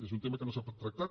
és un tema que no s’ha tractat